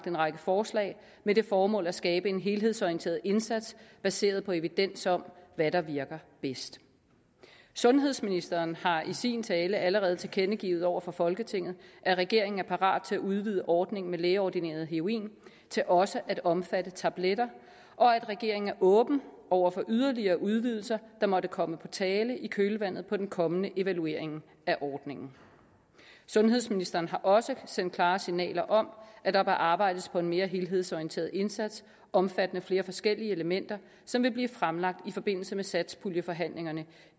en række forslag med det formål at skabe en helhedsorienteret indsats baseret på evidens om hvad der virker bedst sundhedsministeren har i sin tale allerede tilkendegivet over for folketinget at regeringen er parat til at udvide ordningen med lægeordineret heroin til også at omfatte tabletter og at regeringen er åben over for yderligere udvidelser der måtte komme på tale i kølvandet på den kommende evaluering af ordningen sundhedsministeren har også sendt klare signaler om at der bør arbejdes på en mere helhedsorienteret indsats omfattende flere forskellige elementer som vil blive fremlagt i forbindelse med satspuljeforhandlingerne